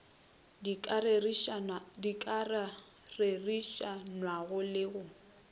di ka ririšanwago le go